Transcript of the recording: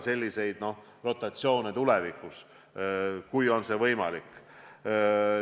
Selliseid rotatsioone tuleks tulevikus korrata, kui see võimalik on.